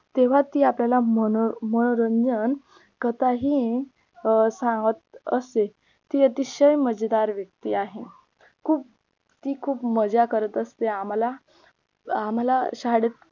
तेव्हा ती आपल्याला मनो मनोरंजन कसा येईन अं सांगत असते ती अतिशय मजेदार व्येक्ती आहे खूप ती खूप मज्जा करत असते आम्हाला आम्हाला शाळेत